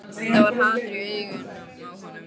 Það var hatur í augunum á honum.